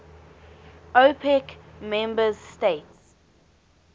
opec member states